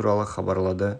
гумилев атындағы еуразия